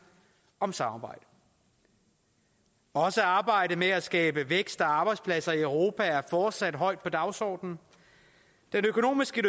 om samarbejdet også arbejdet med at skabe vækst og arbejdspladser i europa er fortsat højt på dagsordenen den økonomiske